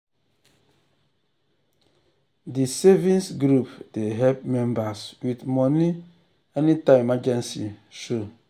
di savings group dey help members with money anytime emergency show.